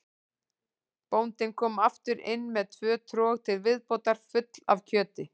Bóndinn kom aftur inn með tvö trog til viðbótar full af kjöti.